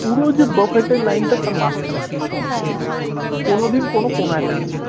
পুরো যে buffet এর line টা তার মাঝখানে থাকে কোনোদিন কোনো কোনায় থাকেনা